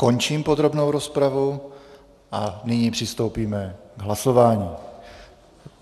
Končím podrobnou rozpravu a nyní přistoupíme k hlasování.